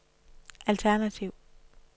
alternativ